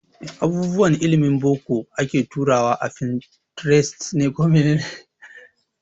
Abubuwan ilimin boko ake turawa a Pinterest